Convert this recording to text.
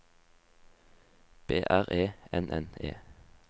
B R E N N E